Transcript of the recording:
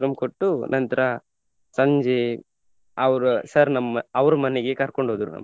ಕೊಟ್ಟು ನಂತ್ರ ಸಂಜೆ ಅವ್ರ sir ನಮ್ಮ ಅವ್ರು ಮನೆಗೆ ಕರ್ಕೊಂಡ್ ಹೋದ್ರು.